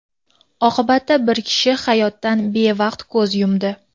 Oqibatda bir kishi hayotdan bevaqt ko‘z yumdi.